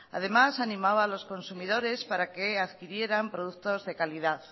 además animaba a los consumidores para que adquirieran productos de calidad